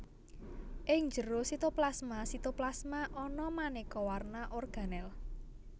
Ing njero sitoplasmaSitoplasma ana manéka warna organel